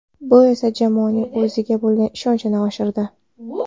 Bu esa jamoaning o‘ziga bo‘lgan ishonchini oshirdi.